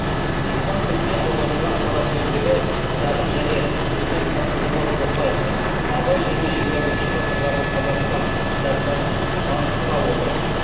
испан тіліне аударылған қара сөздері кітабын және президент қасым жомарт тоқаевтың абай және жиырма бірінші ғасырдағы қазақстан кітапшасын таныстыра отырып